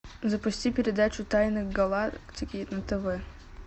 запусти передачу тайны галактики на тв